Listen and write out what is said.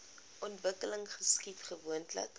ontwikkeling geskied gewoonlik